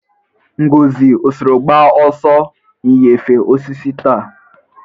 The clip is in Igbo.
Ngozi, ọ soro gba ọsọ inyefe osisi taa?